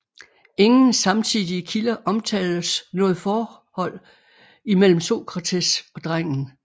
Ingen samtidige kilder omtaler noget forhold mellem Sokrates og drengen